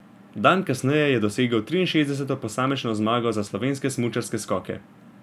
Dan kasneje je dosegel triinšestdeseto posamično zmago za slovenske smučarske skoke.